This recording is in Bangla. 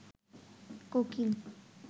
কোকিল